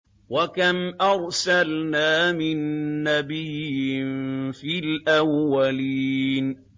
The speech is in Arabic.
وَكَمْ أَرْسَلْنَا مِن نَّبِيٍّ فِي الْأَوَّلِينَ